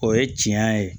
O ye tiɲɛ ye